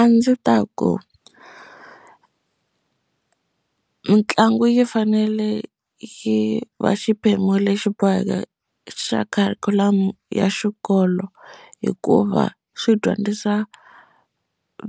A ndzi ta ku mitlangu yi fanele yi va xiphemu lexi boheke xa kharikhulamu ya xikolo bolo hikuva swi dyondzisa